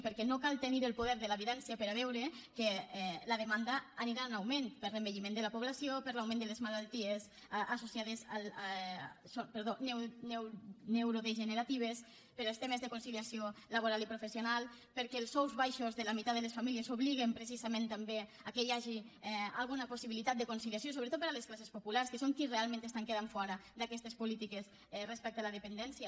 perquè no cal tenir el poder de la vidència per a veure que la demanda anirà en augment per l’envelliment de la població per l’augment de les malalties neurodegeneratives pels temes de conciliació laboral i professional perquè els sous baixos de la meitat de les famílies obliguen precisament també al fet que hi hagi alguna possibilitat de conciliació sobretot per a les classes populars que són les qui realment queden fora d’aquestes polítiques respecte a la dependència